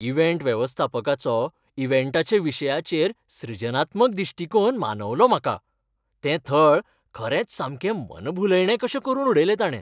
Event वेवस्थापकाचो इव्हेंटाच्या विशयाचेर सृजनात्मक दिश्टीकोन मानवलो म्हाका. तें थळ खरेंच सामकें मनभुलयणें कशें करून उडयल्लें ताणें.